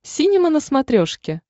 синема на смотрешке